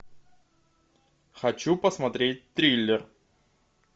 хочу посмотреть триллер